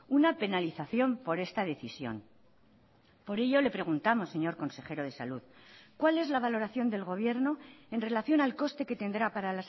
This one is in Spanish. una penalización por esta decisión por ello le preguntamos señor consejero de salud cuál es la valoración del gobierno en relación al coste que tendrá para